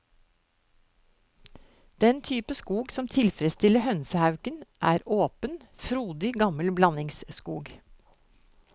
Den type skog som tilfredsstiller hønsehauken, er åpen, frodig gammel blandingsskog.